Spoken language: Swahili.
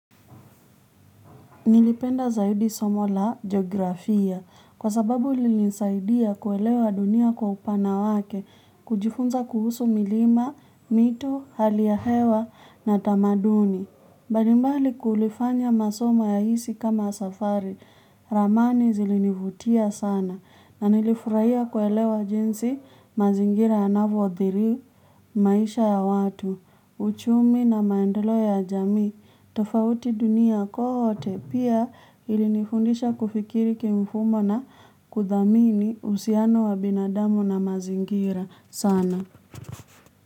Nilipenda zaidi somo la geografia kwa sababu lilisaidia kuelewa dunia kwa upana wake kujifunza kuhusu milima, mito, hali ya hewa na tamaduni. Mbalimbali kulifanya masoma ya hisi kama safari, ramani zilinivutia sana na nilifurahia kuelewa jinsi mazingira yanavyo adhiri, maisha ya watu, uchumi na maendeleo ya jamii tofauti dunia kote, pia ilinifundisha kufikiri kimfumo na kudhamini uhusiano wa binadamu na mazingira sana.